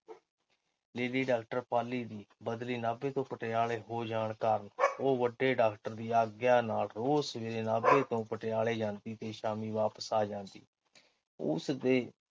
Lady doctor Pali ਦੀ ਬਦਲੀ ਨਾਭੇ ਤੇੋਂ ਪਟਿਆਲੇ ਹੋ ਜਾਣ ਕਾਰਨ ਉਹ ਵੱਡੇ ਡਾਕਟਰ ਦੀ ਆਗਿਆ ਨਾਲ ਰੋਜ਼ ਸਵੇਰੇ ਨਾਭੇ ਤੋਂ ਪਟਿਆਲੇ ਜਾਂਦੀ ਤੇ ਸ਼ਾਮੀ ਵਾਪਸ ਆ ਜਾਂਦੀ। ਉਸਦੇ